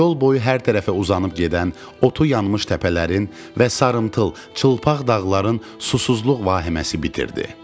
Yol boyu hər tərəfə uzanıb gedən otu yanmış təpələrin və sarımtıl, çılpaq dağların susuzluq vahiməsi bitirdi.